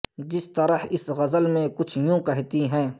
جس طرح اس غزل میں کچھ یوں کہتی ہیں